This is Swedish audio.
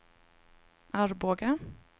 Arboga